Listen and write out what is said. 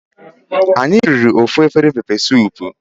Anyi riri ofu afere pepe sup